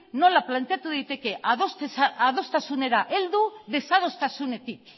nola planteatu daiteke adostasunera heldu desadostasunetik